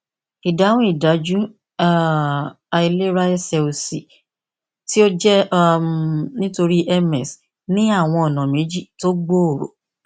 ìdáhùn ìdájú um àìlera ẹsè òsì tí ó jẹ um nítorí ms ní àwọn ònà méjì tó gbòòrò